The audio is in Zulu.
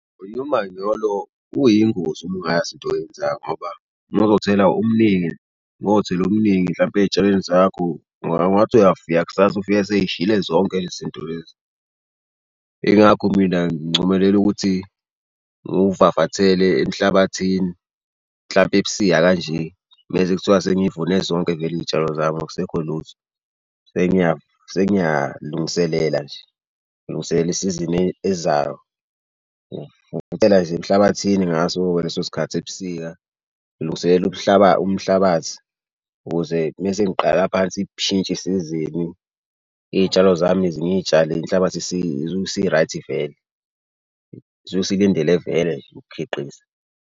Umanyolo uyingozi uma ungayazi into oyenzayo ngoba uma uzothela omningi mothele omningi mhlampe ey'tshalweni zakho, ungathi uyafika kusasa ufike seyishile zonke le zinto lezi. Yingakho mina ngincomelela ukuthi ngiwuvavathele emhlabathini mhlampe ebusika kanje mese kuthiwa sengivune zonke-ke vele iy'tshalo zami akusekho lutho. Sengiyalungiselela nje ngilungiselela isizini ezayo. Nje emhlabathini ngaso ngaleso sikhathi ebusika lungiselela umhlabathi ukuze mese ngiqala phansi isizini iy'tshalo zami zinyitshale inhlabathi isi-right vele. Isuke isilindele vele nje ukukhiqiza.